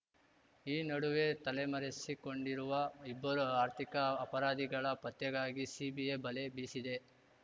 ಈ ನಡುವೆ ತಲೆಮರೆಸಿಕೊಂಡಿರುವ ಇಬ್ಬರು ಆರ್ಥಿಕ ಅಪರಾಧಿಗಳ ಪತ್ತೆಗಾಗಿ ಸಿಬಿಐ ಬಲೆ ಬೀಸಿದೆ